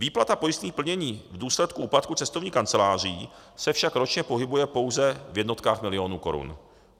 Výplata pojistných plnění v důsledku úpadku cestovních kanceláří se však ročně pohybuje pouze v jednotkách milionů korun.